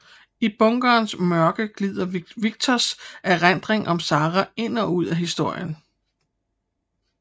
I bunkerens mørke glider Victors erindringer om Sara ind og ud af historien